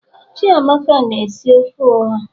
chiamaka na-esi ofe oha